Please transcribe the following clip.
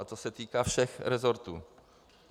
A to se týká všech resortů.